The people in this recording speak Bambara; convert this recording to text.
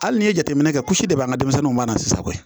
Hali n'i ye jateminɛ kɛ kulusi dɔ bɛ an ka denmisɛnninw banna sisan koyi